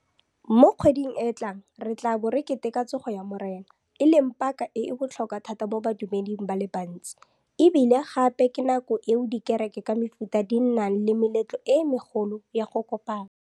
Mo kgweding e e tlang re tla bo re keteka Tsogo ya Morena, e leng paka e e botlhokwa thata mo badumeding ba le bantsi e bile gape ke nako eo dikereke ka mefuta di nnang le meletlo e megolo ya go kopana.